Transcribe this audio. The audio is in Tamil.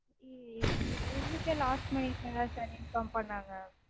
எங்களுக்கே last minute -லதா sir inform பண்ணாங்க